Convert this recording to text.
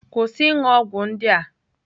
Kwụsị ịṅụ ọgwụ ndị a!